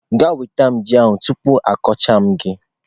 Jee nweta yam ahu tupu m akọcha gi!.